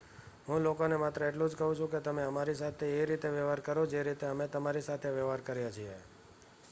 હું લોકોને માત્ર એટલું જ કહું છું કે તમે અમારી સાથે એ રીતે વ્યવહાર કરો જે રીતે અમે તમારી સાથે વ્યવહાર કરીએ છીએ